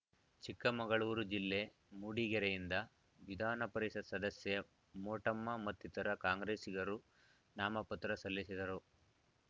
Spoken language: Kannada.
ಚಿಕ್ಕಮಗಳೂರು ಜಿಲ್ಲೆ ಮೂಡಿಗೆರೆಯಿಂದ ವಿಧಾನಪರಿಷತ್‌ ಸದಸ್ಯೆ ಮೋಟಮ್ಮ ಮತ್ತಿತರ ಕಾಂಗ್ರೆಸ್ಸಿಗರು ನಾಮಪತ್ರ ಸಲ್ಲಿಸಿದರು